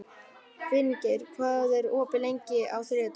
Finngeir, hvað er opið lengi á þriðjudaginn?